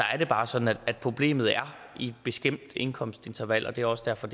er bare sådan at problemet er i et bestemt indkomstinterval og det er også derfor